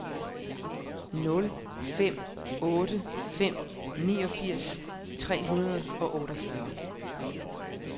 nul fem otte fem niogfirs tre hundrede og otteogfyrre